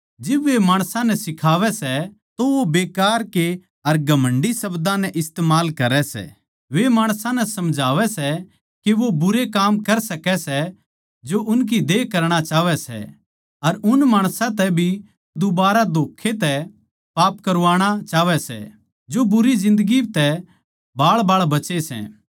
जिब वे माणसां नै सिखावै सै तो वो बेकार के अर घमण्डी शब्दां नै इस्तमाल करै सै वे माणसां नै समझावै सै के वो बुरे काम कर सकै सै जो उनकी देह करणा चाहवै सै अर उन माणसां तै भी दुबारा धोक्खें तै पाप करवाणा चाहवै सै जो बुरी जिन्दगी तै बाळबाळ बचे सै